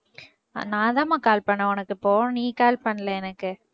நான்தாம்மா call பண்ணேன் உனக்கு இப்போ நீ call பண்ணல எனக்கு